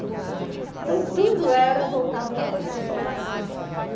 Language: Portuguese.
Então tudo era voltado para a construção da casa.